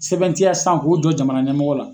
Sɛbɛntiya sisan k'o jɔ jamana ɲɛmɔgɔ la.